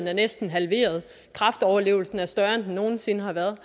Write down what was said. er næsten halveret kræftoverlevelsen er større end den nogen sinde har været